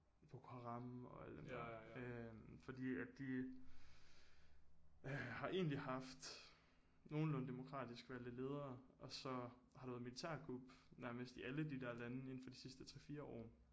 Boko haram og alle dem der øh fordi at de øh har egentlig haft nogenlunde demokratisk valgte ledere og så har der været militærkup nærmest i alle de der lande inden for de sidste 3 4 år